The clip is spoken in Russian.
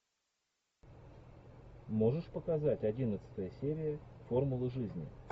можешь показать одиннадцатая серия формулы жизни